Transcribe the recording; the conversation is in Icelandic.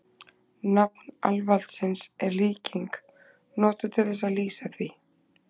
Nafn Alvaldsins er líking, notuð til þess að lýsa því.